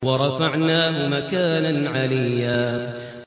وَرَفَعْنَاهُ مَكَانًا عَلِيًّا